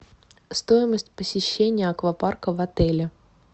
стоимость посещения аквапарка в отеле